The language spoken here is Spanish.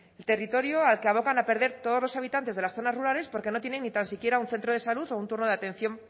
territorio al que abocan a perder todos los habitantes de las zonas rurales porque no tienen ni tan siquiera un centro de salud o un turno de atención